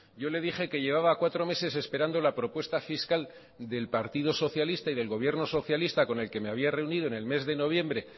yo le dije que llevaba cuatro meses esperando la propuesta fiscal del partido socialista y del gobierno socialista con el que me había reunido en el mes de noviembre